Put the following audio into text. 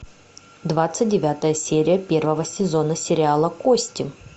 двадцать девятая серия первого сезона сериала кости